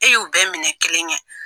E y'u bɛɛ minɛ kelen ye.